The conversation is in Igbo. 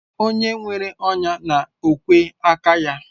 O nwere ọnya na ogwe aka ya